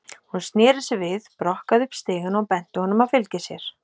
Hún sneri sér við, brokkaði upp stigann og benti honum að fylgja sér.